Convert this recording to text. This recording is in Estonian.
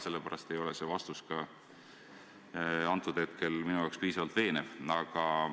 Sellepärast ei ole see vastus minu jaoks piisavalt veenev.